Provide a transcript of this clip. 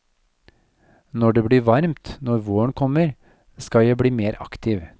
Når det blir varmt, når våren kommer, skal jeg bli mer aktiv.